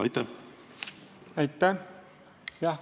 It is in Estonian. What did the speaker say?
Aitäh!